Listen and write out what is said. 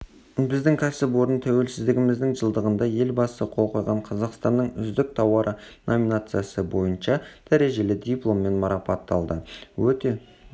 біздің кәсіпорын тәуелсіздігіміздің жылдығында елбасы қол қойған қазақстанның үздік тауары номинациясы бойынша дәрежелі дипломмен марапатталды өте